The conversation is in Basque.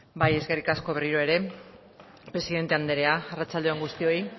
eskerrik asko berriro ere presidente andrea arratsalde on guztioi